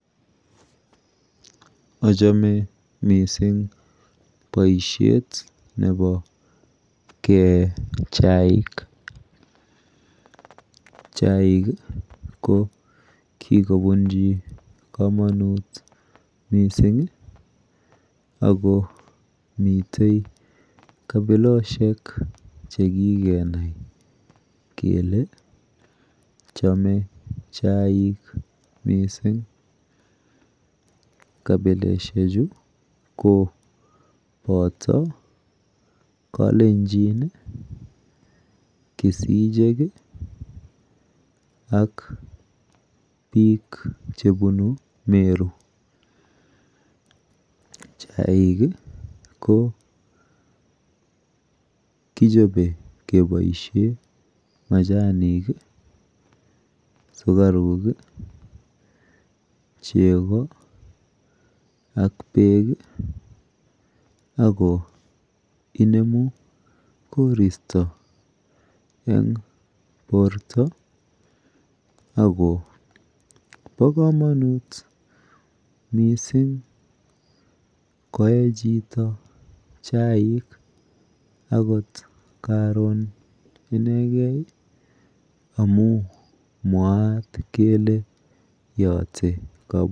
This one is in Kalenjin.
Achome mising boishet nepo kee chaik. Chaik ko kikobunji komonut mising akomite kapiloshek chekikenai kele ee chaik mising. Kapileshechu ko poto kalenjin, kisichek ak biik chebunu Meru. Chaik ko kichope keboishe majanik, siukaru, chego ak beek ako inemu koristo eng porto ako po komonut mising koe chito chaik akot karon inegei amu mwaat kele yote ...